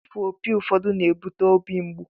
Ịfụ opi ụfọdụ na-ebute óbị mgbu